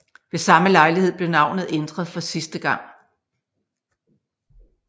Ved samme lejlighed blev navnet ændret for sidste gang